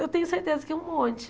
Eu tenho certeza que um monte.